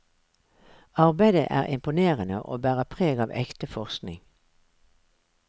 Arbeidet er imponerende og bærer preg av ekte forskning.